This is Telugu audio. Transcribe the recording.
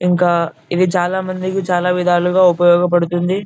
ఇంకా ఇది చాలా మందికి చాలా విధాలుగా ఉపయోగపడుతుంది .